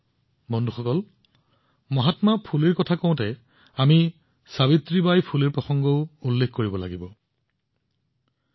বন্ধুসকল মহাত্মা ফুলেৰ এই আলোচনাত সাবিত্ৰীবাই ফুলেজীৰ কথা উল্লেখ কৰাটোও সমানে গুৰুত্বপূৰ্ণ